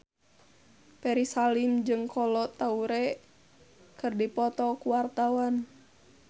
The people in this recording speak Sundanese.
Ferry Salim jeung Kolo Taure keur dipoto ku wartawan